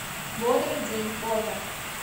бодрый день фото